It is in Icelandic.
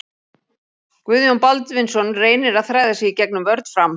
Guðjón Baldvinsson reynir að þræða sig í gegnum vörn Fram.